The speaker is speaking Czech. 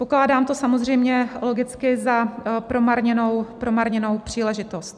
Pokládám to samozřejmě logicky za promarněnou příležitost.